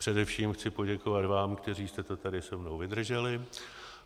Především chci poděkovat vám, kteří jste to tady se mnou vydrželi.